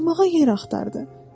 Oturmağa yer axtardı.